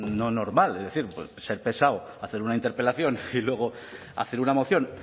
no normal es decir ser pesado hacer una interpelación y luego hacer una moción